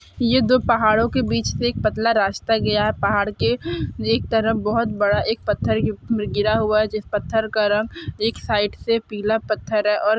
ये दो पहाड़ों के बीच से एक पतला रास्ता गया है पहाड़ के एक तरफ बहोत बड़ा एक पत्थर गी गिरा हुआ है जिस पत्थर का रंग एक साइड से पीला पत्थर है और --